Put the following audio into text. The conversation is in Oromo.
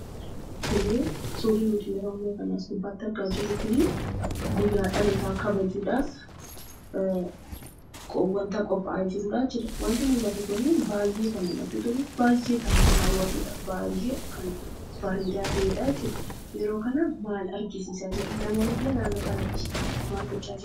Suurri as gubbaarratti argaa jirru kun guyyaa dhalootaa kabajuudhaaf wanta qophaa'ee jirudha. Wanti mul'atu Kun baay'ee kan namatti toluu fi nama haawwatudha. Yeroo kana maal agarsiisaa jira? Namoonnillee naannoo sanatti maal gochaa jiru?